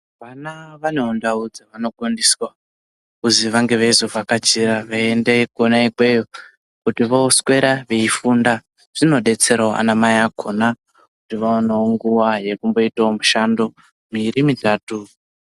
Vana vanewo ndau dzevanogondiswa kuzwi vange veizovhakachira, kuti veiende kwona ikweyo kuti vooswera veifunda. Zvinodetserawo anamai akhona, kuti vaonewo nguwa yekumboitawo mushando miiri mitatu.